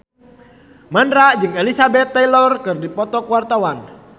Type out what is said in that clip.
Mandra jeung Elizabeth Taylor keur dipoto ku wartawan